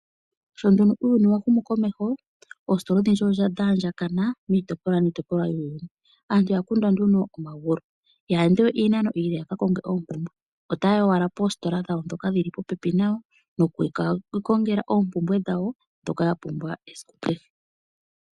Sho nduno uuyuni wa humu komeho oostola odhindji odha andjakana miitopolwa niitopolwa yuuyuni. Aantu ya kondwa nee nduno omagulu, ihaya ende we iinano iile yaka konge oompumbwe, otaya yi owala poostola dhoka dhili popepi nayo nokuka ikongela oompumbwe dhawo dhoka ya pumbwa esiku kehe.